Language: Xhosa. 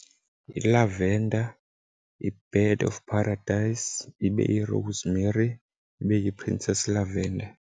Yi-lavender, yi-bed of paradise, ibe yi-rosemary, ibe yi-princess lavender.